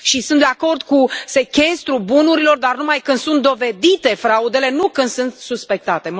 Și sunt de acord cu sechestrul bunurilor dar numai când sunt dovedite fraudele, nu când sunt suspectate.